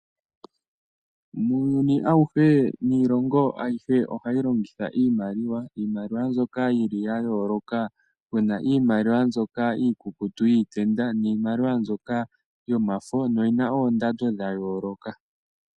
Muuyuni awuhe, niilongo ayihe ohayi longitha iimaliwa, iimaliwa mbyoka yili ya yooloka. Puna iimaliwa mbyoka iikukutu yiitenda niimaliwa mbyoka yomafo noyina oondando dha yooloka